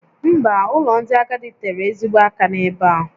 Mba, ụlọ ndị agadi tere ezigbo aka n'ebe a